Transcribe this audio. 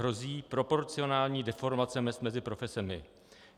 Hrozí proporcionální deformace mezd mezi profesemi.